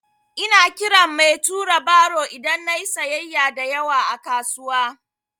Ina kiran mai tura baro idan na yi sayyaya da yawa a kasuwa.